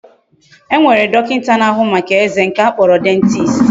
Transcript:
E nwere dokinta na ahu Maka eze, nke a kporo dentist